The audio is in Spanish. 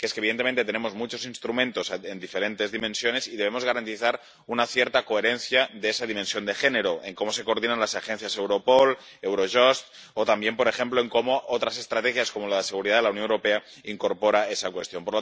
Evidentemente, tenemos muchos instrumentos en diferentes dimensiones y debemos garantizar una cierta coherencia de esa dimensión de género en cómo se coordinan las agencias Europol, Eurojust o, también, por ejemplo, en cómo otras estrategias —como la Estrategia de Seguridad de la Unión Europea— incorporan esa cuestión.